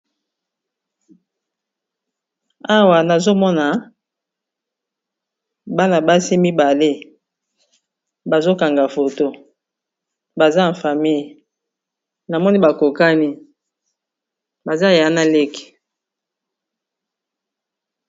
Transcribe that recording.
awa nazomona bana basi mibale bazokanga foto baza ifamille na moni bakokani baza ya na leke